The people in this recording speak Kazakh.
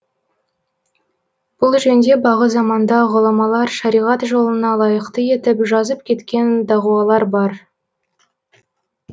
бұл жөнде бағы заманда ғұламалар шариғат жолына лайықты етіп жазып кеткен дағуалар бар